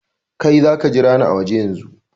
Kai, za ka jira ni a waje yanzun!